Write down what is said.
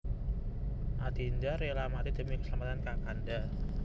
Adinda rela mati demi keselamatan Kakanda